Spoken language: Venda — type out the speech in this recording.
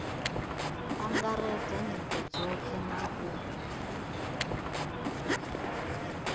angaredza nyito dzothe na u